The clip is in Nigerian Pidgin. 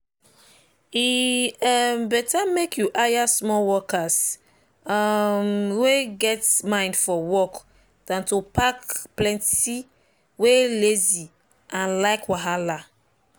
e um better make you hire small workers um wey get mind for work than to pack plenty wey lazy and like wahala.